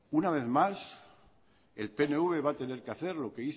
una vez más el pnv va a tener que hacer